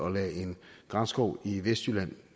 at lade en granskov i vestjylland